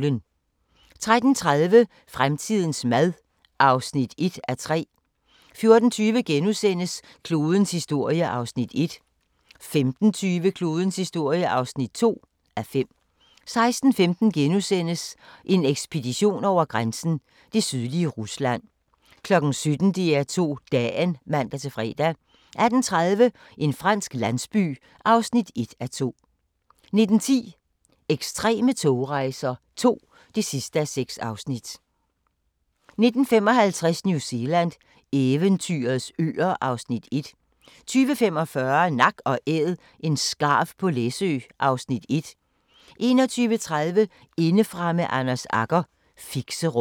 13:30: Fremtidens mad (1:3) 14:20: Klodens historie (1:5)* 15:20: Klodens historie (2:5) 16:15: En ekspedition over grænsen: Det sydlige Rusland * 17:00: DR2 Dagen (man-fre) 18:30: En fransk landsby (1:2) 19:10: Ekstreme togrejser II (6:6) 19:55: New Zealand – eventyrets øer (Afs. 1) 20:45: Nak & Æd – en skarv på Læsø (Afs. 1) 21:30: Indefra med Anders Agger - Fixerum